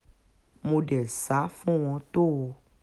mo dé sá fún wọn tó o